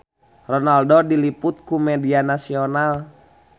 Ronaldo diliput ku media nasional